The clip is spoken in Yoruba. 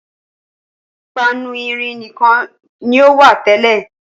Páánù irin nìkan ni ó wà tẹ́lẹ̀.